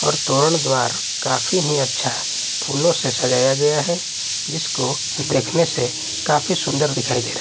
और तोरण द्वार काफी ही अच्छा है फूलों से सजाया गया है इसको देखने से काफी सुंदर दिखाई दे रहा--